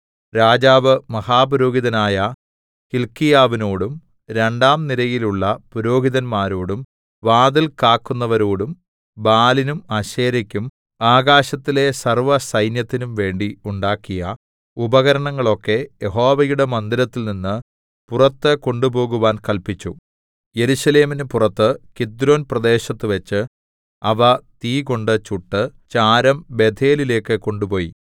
രാജാവ് മഹാപുരോഹിതനായ ഹില്ക്കീയാവിനോടും രണ്ടാം നിരയിലുള്ള പുരോഹിതന്മാരോടും വാതിൽ കാക്കുന്നവരോടും ബാലിനും അശേരെക്കും ആകാശത്തിലെ സർവ്വസൈന്യത്തിനും വേണ്ടി ഉണ്ടാക്കിയ ഉപകരണങ്ങളൊക്കെ യഹോവയുടെ മന്ദിരത്തിൽനിന്ന് പുറത്ത് കൊണ്ടുപോകുവാൻ കല്പിച്ചു യെരൂശലേമിന് പുറത്ത് കിദ്രോൻപ്രദേശത്തുവെച്ച് അവ തീകൊണ്ട് ചുട്ട് ചാരം ബേഥേലിലേക്ക് കൊണ്ടുപോയി